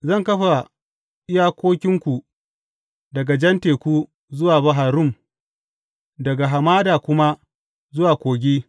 Zan kafa iyakokinku daga Jan Teku zuwa Bahar Rum, daga hamada kuma zuwa Kogi.